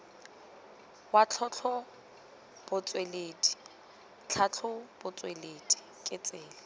wa tlhatlhobotsweledi tlhatlhobotsweledi ke tsela